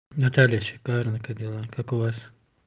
наталья шикарно как дела как у вас